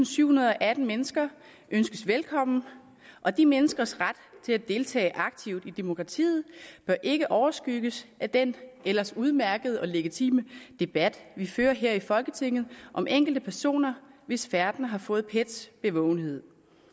sytten atten mennesker bydes velkommen og de menneskers ret til at deltage aktivt i demokratiet bør ikke overskygges af den ellers udmærkede og legitime debat vi fører her i folketinget om enkelte personer hvis færden har fået pets bevågenhed